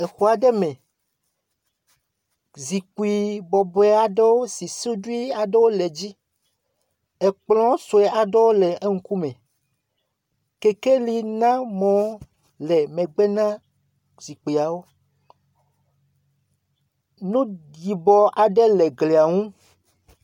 Le xɔ aɖe me, zikpui bɔbɔe aɖewo si suɖi aɖewo le dzi. Kplɔ̃ sue aɖewo le eƒe ŋkume. Kekeli na mɔ le megbe na zikpuiawo. Nu yibɔ aɖe le glia ŋu.